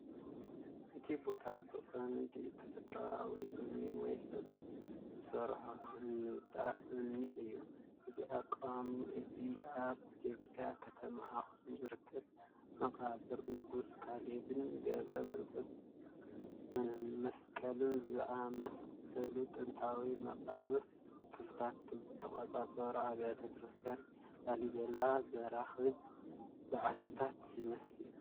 እቲ ቦታ ብቐንዱ ተፈጥሮኣዊ እምኒ ወይ ሰብ ዝሰርሖ ህንጻ እምኒ እዩ። እዚ ኣቃውማ እዚ ኣብ ኢትዮጵያ ከተማ ኣኽሱም ዝርከብ መቓብር ንጉስ ካሌብን ገብረ መስቀልን ዝኣመሰሉ ጥንታውያን መቓብር ክፍልታት ዝተቖርጹ ኣብያተ ክርስቲያናት ላሊበላ ዘራኽብ በዓትታት ይመስል።